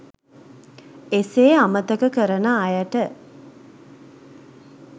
එසේ අමතක කරන අයට